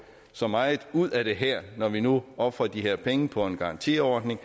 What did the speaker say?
så meget ud af det her når vi nu ofrer de her penge på en garantiordning